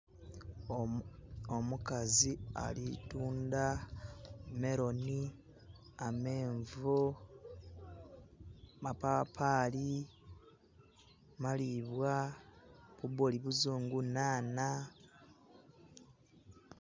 Omukazi alitunda meloni, amenvu, mapapali, malibwa, bubooli buzungu, nhaanha